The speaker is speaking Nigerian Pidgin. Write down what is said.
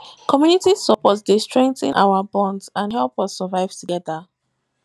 community support dey strengthen our bonds and help us survive together